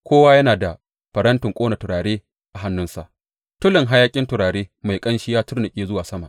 Kowa yana da farantin ƙona turare a hannunsa, tulin hayaƙin turare mai ƙanshi ya tunnuƙe zuwa sama.